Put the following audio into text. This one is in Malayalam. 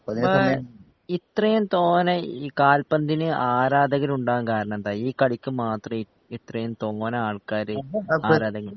അപ്പൊ ഇത്രേം തോനെ ഈ കാൽപ്പന്തിന് ആരാധകരുണ്ടാകാൻ കാരണെന്താ ഈ കളിക്ക് മാത്രെ ഇത്രേം തോനെ ആൾക്കാര് ആരാധകര്